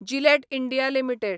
Gillette India limited